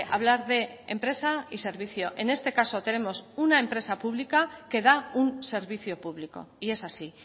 hablar de empresa y servicio en este caso tenemos una empresa pública que da un servicio público y es así